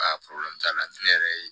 t'a la ne yɛrɛ ye